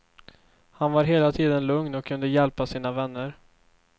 Han var hela tiden lugn och kunde hjälpa sina vänner.